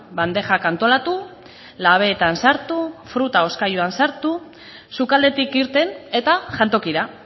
bandejak antolatu labeetan sartu fruta hozkailuan sartu sukaldetik irten eta jantokira